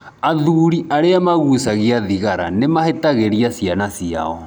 Athuuri arĩa maguhcagia thigara nĩ mahĩtagĩrĩa ciana ciao.